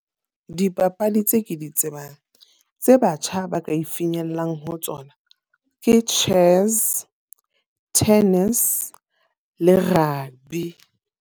Dipapadi tse ke di tsebang, tse batjha ba ka e finyellang ho tsona. Ke chess, tennis le rugby.